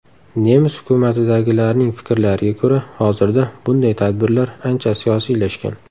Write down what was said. Nemis hukumatidagilarning fikrlariga ko‘ra, hozirda bunday tadbirlar ancha siyosiylashgan.